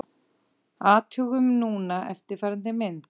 Athugum núna eftirfarandi mynd: